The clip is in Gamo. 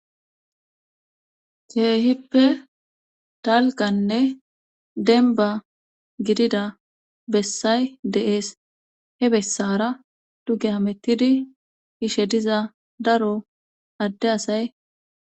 Keehippe talganne denba gidida bessay deees he bessara duge amettidi ishe diza daro adde asay.